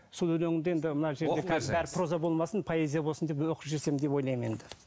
сол өлеңді енді мына жерде қазір бәрі проза болмасын поэзия болсын деп оқып жіберсем деп ойлаймын енді